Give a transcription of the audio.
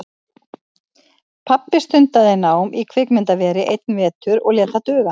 Pabbi stundaði nám í kvikmyndaveri einn vetur og lét það duga.